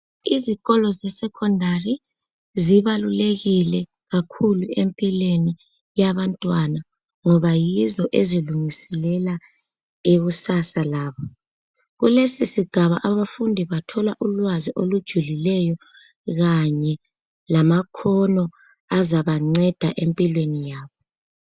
Izikolo sesecondary zibalulekile kakhulu empilweni yabantwana ngoba yizo ezilungiselela ikusasa labo kulesisigaba abafundi bathola ulwazi olujulileyo kanye lama khono azabanceda empilweni yabo.